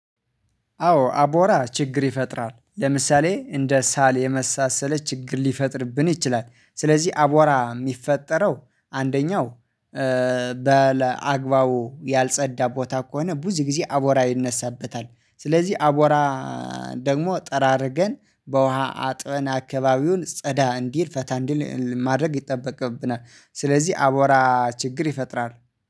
አዎ አቧራ ችግር ይፈጥራል ለምሳሌ እንደ ሳል የመሳሰለ ችግር ሊፈጥርብን ይችላል። ስለዚህ አቧራ የሚፈጠረው አንደኛው በለ አግባቡ ያልጸዳ ቦታ ከሆነ ብዙ ጊዜ አቦራ ይነሳበታል። ስለዚህ አቦራ ደግሞ ጠራርገን በውሃ አጥበን አካባቢውን ጸዳ እንዲል ፈታ እንዲል ማድረግ ይጠበቅብናል። ስለዚህ አቦራ ችግር ይፈጥራል